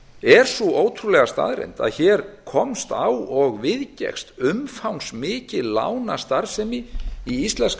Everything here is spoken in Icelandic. er sú ótrúlega staðreynd að hér komst á og viðgekkst umfangsmikil lánastarfsemi í íslenska